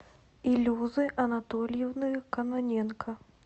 илюзы анатольевны кононенко